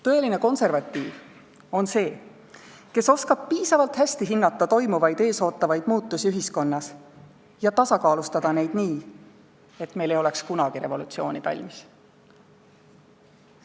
Tõeline konservatiiv on see, kes oskab piisavalt hästi hinnata ühiskonnas toimuvaid ja ühiskonda ees ootavaid muutusi ning tasakaalustada neid nii, et meil ei oleks kunagi revolutsiooni tarvis.